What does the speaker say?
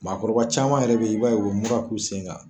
Maakɔrɔba caman yɛrɛ be yen, i b'a ye u be mura k'u sen kan.